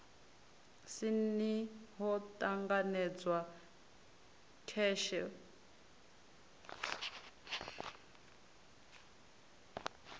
si ni ho ṱanganedzwa kheshe